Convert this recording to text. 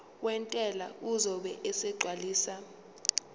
wentela uzobe esegcwalisa